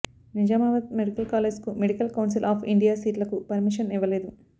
Nizamabad medical కాలేజ్కు medical council of India సీట్లకు permission ఇవ్వలేదు